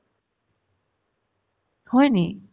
হয় নেকি ?